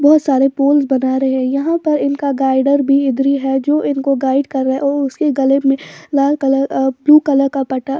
बहुत सारे पोल्स बना रहे हैं यहां पर इनका गाइडर भी इधर ही है जो इनको गाइड कर रहा है और उसके गले में लाल कलर ब्लू कलर का पट्टा--